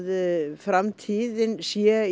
framtíðin sé í